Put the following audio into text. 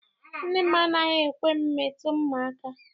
Nne m anaghị ekwe m metụ mma aka.